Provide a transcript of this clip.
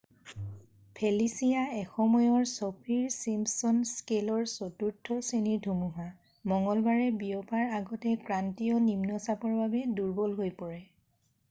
Felicia এসময়ৰ চফীৰ Simpson স্কেলৰ 4ৰ্থ শ্ৰেণীৰ ধুমুহা মঙ্গলবাৰে বিয়পাৰ আগতে ক্ৰান্তীয় নিম্নচাপৰ বাবে দূৰ্বল হৈ পৰে